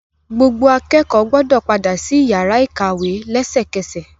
Gbogbo akẹ́kọ̀ọ́ gbọ́dọ padà sí iyàrá ìkàwé lẹ́sẹkẹ́sẹ̀.!